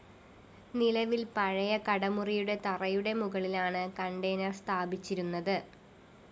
നിലവില്‍ പഴയ കടമുറിയുടെ തറയുടെ മുകളിലാണ് കണ്ടയ്‌നര്‍ സ്ഥാപിച്ചിരുന്നത്